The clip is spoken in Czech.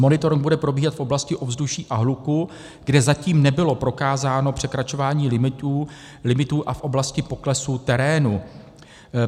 Monitoring bude probíhat v oblasti ovzduší a hluku, kde zatím nebylo prokázáno překračování limitů, a v oblasti poklesů terénu.